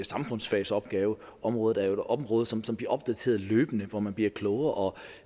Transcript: samfundsfagsopgaveområdet er jo områder som som bliver opdateret løbende hvor man bliver klogere og